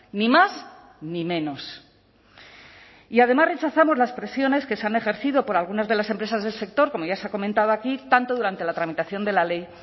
ni más ni menos y además rechazamos las presiones que se han ejercido por algunas de las empresas del sector como ya se ha comentado aquí tanto durante la tramitación de la ley